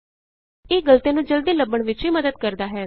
ਇਹ ਗਲਤੀਆਂ ਨੂੰ ਜਲਦੀ ਲੱਭਣ ਵਿਚ ਵੀ ਮੱਦਦ ਕਰਦਾ ਹੈ